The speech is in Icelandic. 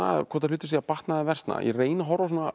hvort hlutir séu að batna eða versna ég reyni að horfa